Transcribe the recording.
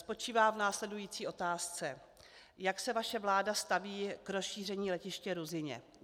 Spočívá v následující otázce: Jak se vaše vláda staví k rozšíření letiště Ruzyně?